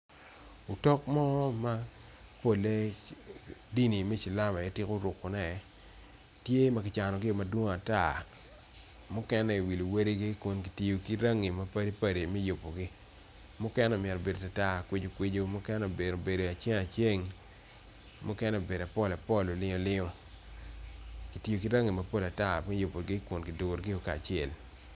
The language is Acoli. Otok mo mapolle dini me cilam aye tiku rukone tye ma ki canogio dwong ata mukene iwi luwadigi kun ki tiyo rangi mapatpat mukene omito bedo tar tar okwijo kwijo mukene omito bedo aceng aceng muken obedo apol apol olingo olingo ki tiyo ki rangi mapol ata me yubogi kun ki durugi kacel.